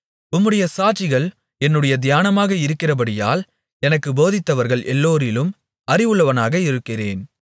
உம்முடைய சாட்சிகள் என்னுடைய தியானமாக இருக்கிறபடியால் எனக்குப் போதித்தவர்கள் எல்லோரிலும் அறிவுள்ளவனாக இருக்கிறேன்